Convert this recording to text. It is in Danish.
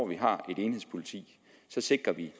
vi har et enhedspoliti sikrer vi